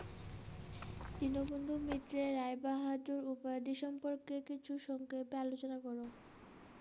দীনবন্ধুর মিত্রের রায় বাহাদুর উপাধি সম্পর্কে কিছু সত্যতা লিখ।